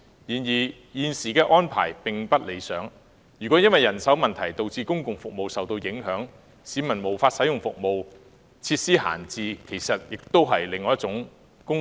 然而，現時的安排並不理想，倘若因人手問題而導致公共服務受影響，令市民無法使用有關服務，則會發生設施閒置的問題，這其實是在浪費公帑。